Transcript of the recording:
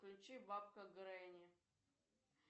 включи бабка гренни